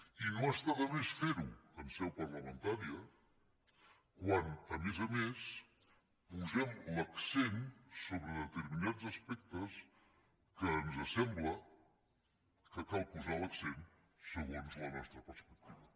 i no està de més fer·ho en seu parlamen·tària quan a més a més posem l’accent sobre deter·minats aspectes que ens sembla que cal posar l’accent segons la nostra perspectiva